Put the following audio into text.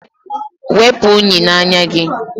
Wepu unyi n'anya gị!